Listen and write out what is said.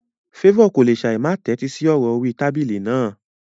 Favour kò lè ṣáì má tẹ́tí sí ọ̀rọ̀ orí tábìlì náà.